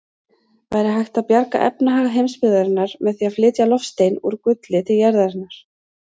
Væri hægt að bjarga efnahag heimsbyggðarinnar með því að flytja loftstein úr gulli til jarðarinnar?